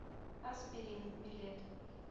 аспирин билет